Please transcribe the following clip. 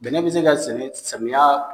Bɛnɛ be se ka sɛnɛ samiya